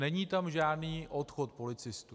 Není tam žádný odchod policistů.